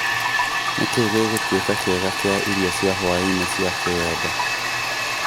Nĩ kĩĩ gĩgũtuĩka kĩega kia irio cia hwaĩ-inĩ cia kiwendo